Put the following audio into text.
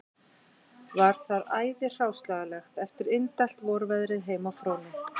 Var þar æði hráslagalegt eftir indælt vorveðrið heima á Fróni